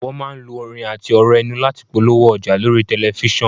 Wọn máa ń lo orin àti ọ̀rọ̀ ẹnu láti polówó ọjà lórí tẹ̀lifísàn